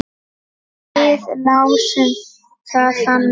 Við lásum það þannig.